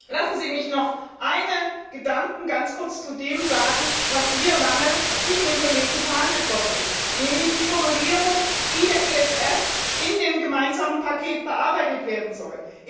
Lassen Sie mich noch einen Gedanken ganz kurz zu dem sagen, was hier lange zwischen den Kollegen verhandelt worden ist, nämlich die Formulierung, wie der ESF in dem gemeinsamen Paket bearbeitet werden soll.